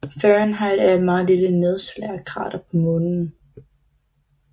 Fahrenheit er et meget lille nedslagskrater på Månen